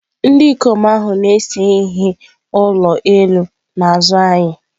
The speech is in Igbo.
Ndị ikom ahụ na-ese ihe ụlọ elu n'azụ anyị.